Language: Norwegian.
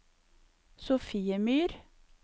Sofiemyr